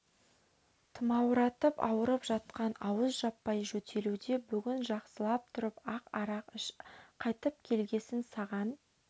тұмауратып ауырып жатқан ауыз жаппай жөтелуде бүгін жақсылап тұрып ақ арақ іш қайтып келгесін саған